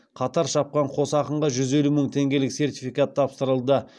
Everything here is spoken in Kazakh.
қатар шапқан қос ақынға жүз елу мың теңгелік сертификат тапсырылды